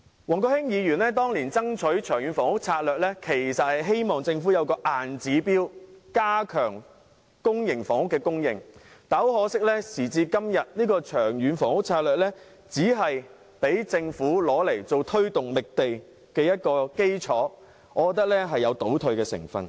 前議員王國興當年爭取的《長遠房屋策略》，其實是希望政府有個硬指標，加強公營房屋的供應，但很可惜，時至今日，《長遠房屋策略》只是用作讓政府推動覓地的基礎，我認為這有倒退的成分。